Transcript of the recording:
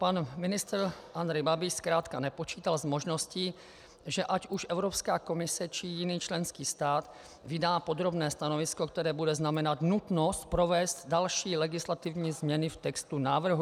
Pan ministr Andrej Babiš zkrátka nepočítal s možností, že ať už Evropská komise, či jiný členský stát vydá podrobné stanovisko, které bude znamenat nutnost provést další legislativní změny v textu návrhu.